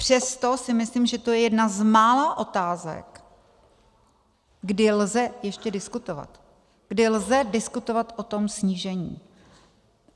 Přesto si myslím, že je to jedna z mála otázek, kdy lze ještě diskutovat, kdy lze diskutovat o tom snížení.